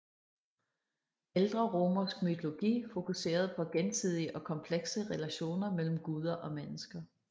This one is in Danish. Ældre romersk mytologi fokuserede på gensidige og komplekse relationer mellem guder og mennesker